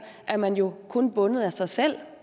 er man jo kun bundet af sig selv